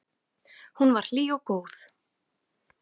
Hún var hlý og góð.